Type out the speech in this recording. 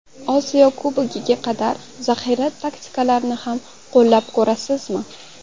Osiyo Kubogiga qadar zaxira taktikalarini ham qo‘llab ko‘rasizmi?